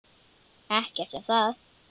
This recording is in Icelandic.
Ekkert um það.